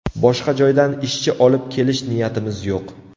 Boshqa joydan ishchi olib kelish niyatimiz yo‘q”.